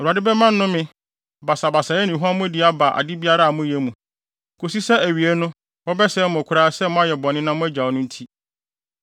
Awurade bɛma nnome, basabasayɛ ne huammɔdi aba ade biara a moyɛ mu, kosi sɛ awiei no wɔbɛsɛe mo koraa sɛ moayɛ bɔne na moagyaw no nti.